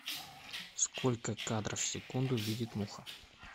сколько кадров в секунду видит муха